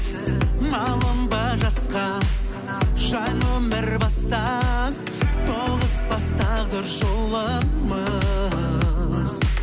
малынба жасқа жаңа өмір баста тоғыспас тағдыр жолымыз